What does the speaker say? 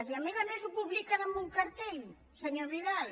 i a més a més ho publiquen amb un cartell senyor vidal